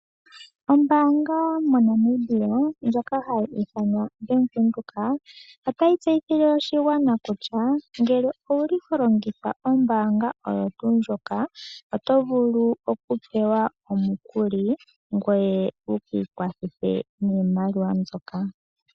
Ombanga moNamibia ngoka hayi ithanwa Bank Windhoek, otayi tseyithile oshigwana kutya ngele owuli holongitha ombanga oyo tuu ndjoka oto vulu okupewa omukuli, ngweye wu kiikwathithe niimaliwa mbyoka.